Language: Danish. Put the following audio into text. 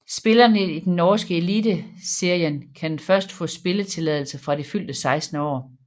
Spillerne i den norske Eliteserien kan først få spilletilladelse fra det fyldte 16 år